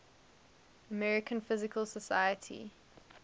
american physical society